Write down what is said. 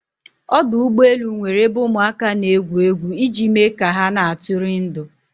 Ọdụ ụgbọ elu nwere ebe ụmụ aka n'egwu egwu iji me ka ha na atụri ndụ